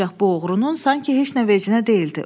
Ancaq bu oğrunun sanki heç nə vecinə deyildi.